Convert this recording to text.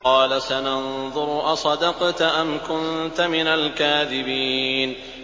۞ قَالَ سَنَنظُرُ أَصَدَقْتَ أَمْ كُنتَ مِنَ الْكَاذِبِينَ